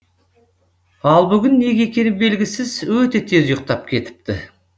ал бүгін неге екені белгісіз өте тез ұйықтап кетіпті